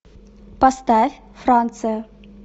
поставь франция